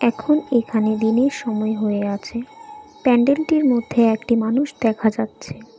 এখন এখানে দিনের সময় হয়ে আছে প্যান্ডেলটির মধ্যে একটি মানুষ দেখা যাচ্ছে ।